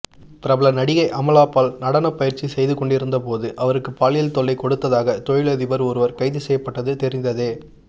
பிரபல நடிகை அமலாபால் நடனப்பயிற்சி செய்து கொண்டிருந்தபோது அவருக்கு பாலியல் தொல்லை கொடுத்ததாக தொழிலதிபர் ஒருவர் கைது செய்யப்பட்டது தெரிந்ததே